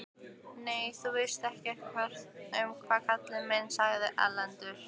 Nei, þú veist ekkert um það kallinn minn, sagði Erlendur.